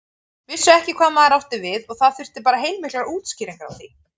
Vissu ekki hvað maður átti við og það þurfti bara heilmiklar útskýringar á því.